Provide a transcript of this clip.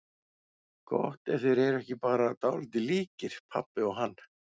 Gott ef þeir voru ekki bara dálítið líkir, pabbi og hann.